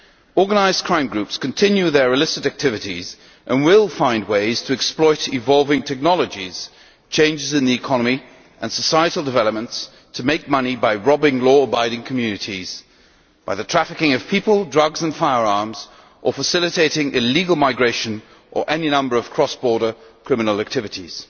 Organised crime groups continue their illicit activities and will find ways to exploit evolving technologies, changes in the economy and societal developments to make money by robbing law abiding communities, by the trafficking of people, drugs and firearms, or by facilitating illegal migration or any number of cross border criminal activities.